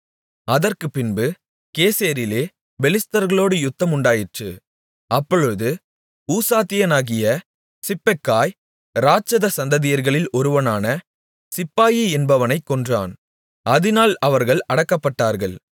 அதற்குப்பின்பு கேசேரிலே பெலிஸ்தர்களோடு யுத்தம் உண்டாயிற்று அப்பொழுது ஊசாத்தியனாகிய சிப்பெக்காய் இராட்சத சந்ததியர்களில் ஒருவனான சிப்பாயி என்பவனைக் கொன்றான் அதினால் அவர்கள் அடக்கப்பட்டார்கள்